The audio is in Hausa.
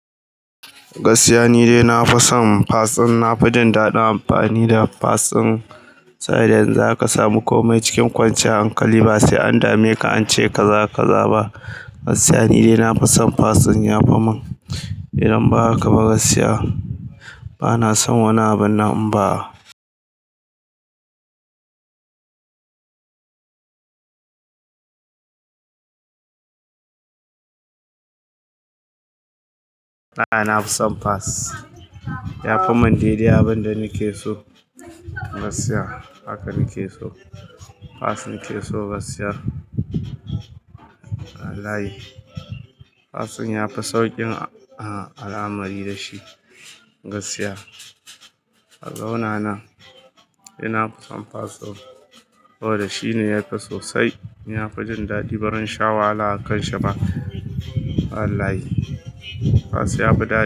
Gaskiya ni dai, na fi son fasin. Na fi jin daɗin amfani da fasin. Saboda yanu zaka samu komai cikin kwanciyar hankali, ba sai an dame ka an ce kaza kaza ba. Gaskiya ni dai, na fi son fasin. Ya fi mun idan ba haka ba, gaskiya bana son wani abu na. In ba., na fi son fasin. Ya fi mun daidai abin da nake so. Gaskiya haka nake so. Fasin nake so gaskiya. Wallahi fasin ya fi sauƙin al'amari da shi. Gaskiya a zaunanan ina fi son fasin saboda shi ne ya fi sosai. Inafi jin daɗi barinsha wahala a kan shi ba. Wallahi, fasin ya fi dadi.